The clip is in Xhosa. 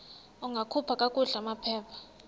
ungakhupha kakuhle amaphepha